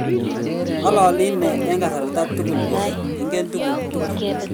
ngololi inee eng kasarta tugul kole ingen tuguk tugul